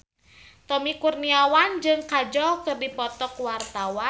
Tommy Kurniawan jeung Kajol keur dipoto ku wartawan